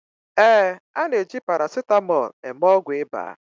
ee, a na-eji paracetamol eme ọgwụ ịba